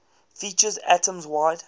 features atoms wide